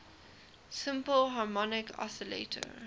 simple harmonic oscillator